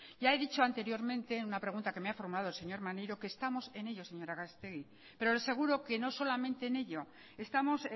ya he dicho anteriormente en una pregunta que me ha formulado el señor maneiro que estamos en ello señora gallastegui pero le aseguro que no solamente en ello estamos